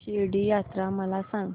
शिर्डी यात्रा मला सांग